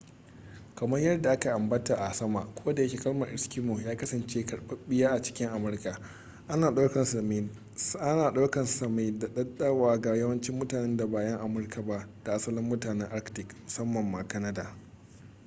kamar yadda aka ambata a sama kodayake kalmar eskimo ya kasance karɓaɓɓiya a cikin amurka ana ɗaukar sa mai daɗaɗawa ga yawancin mutanen da ba 'yan amurka ba da asalin mutanen arctic musamman ma kanada